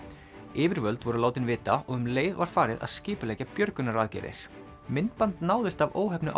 yfirvöld voru látin vita og um leið var farið að skipuleggja björgunaraðgerðir myndband náðist af óheppnu